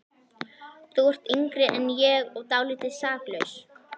Þú ert yngri en ég og dálítið saklaus.